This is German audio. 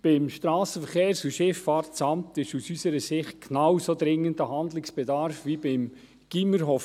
Beim SVSA besteht aus unserer Sicht ein genauso dringender Handlungsbedarf wie beim Gymnasium Hofwil.